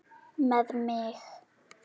Með mig?